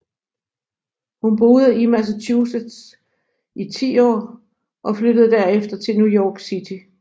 Hun boede i Massachusetts i ti år og flyttede derefter til New York City